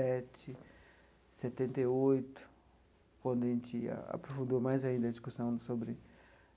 sete setenta e oito, quando a gente aprofundou mais ainda a discussão sobre